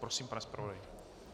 Prosím, pane zpravodaji.